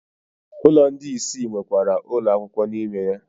Ụlọ ndị isi nwekwara ụlọ akwụkwọ n'ime ya.